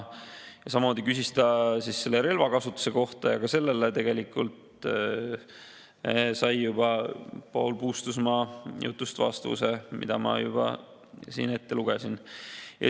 Samuti küsis ta relvade kasutamise kohta ja ka sellele tegelikult sai juba Paul Puustusmaa jutust vastuse, mille ma siin ette lugesin.